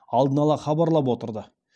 алдын ала хабарлап отырды